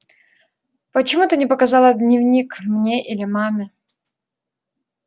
почему ты не показала дневник мне или маме